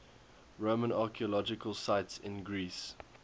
roman archaeological sites in greece